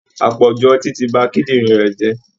Àpọ̀jù ọtí ti ba kíndìnrín rẹ̀ jẹ́